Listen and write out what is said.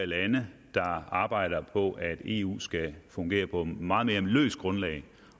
lande der arbejder på at eu skal fungere på et meget mere løst grundlag